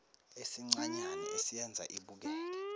esincanyana esiyenza ibukeke